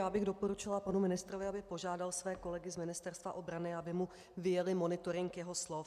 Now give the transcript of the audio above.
Já bych doporučila panu ministrovi, aby požádal své kolegy z Ministerstva obrany, aby mu vyjeli monitoring jeho slov.